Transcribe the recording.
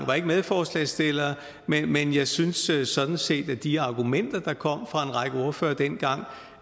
var ikke medforslagsstillere men jeg synes synes sådan set at de argumenter der kom fra en række ordførere dengang